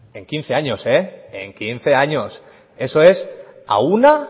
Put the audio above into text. en quince años eso es a una